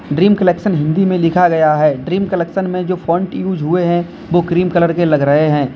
Dream collection Hindi में लिखा गया है ड्रीम कलेक्शन में जो फोंट यूज हुए हैं वो क्रीम कलर के लग रहे हैं।